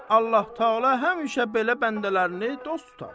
Allah-təala həmişə belə bəndələrini dost tutar.